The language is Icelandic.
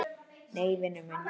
Nei, vinur minn.